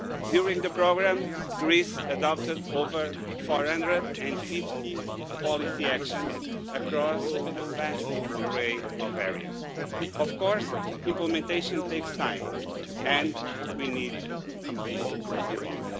During the programme, Greece adopted over 450 policy actions across a vast array of areas. Of course, implementation takes time, and we need to be resilient.